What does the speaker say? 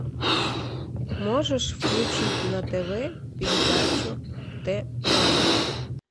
можешь включить на тв передачу т номер